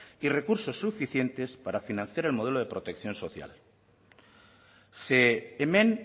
y recursos suficientes para financiar el modelo de protección social ze hemen